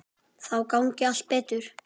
Þá gangi allt betur.